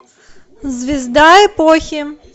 звезда эпохи